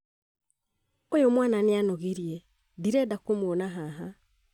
ũyũ mwana nĩ anogirie ndirenda kũmũona haha